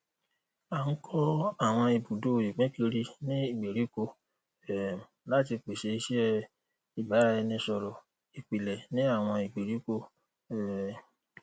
a n kọ awọn ibudo ipinkiri ni gberiko um lati pese iṣẹ ibaraẹnisọrọl ipilẹ ni awọn gberiko um